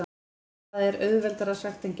En það er auðveldara sagt en gert.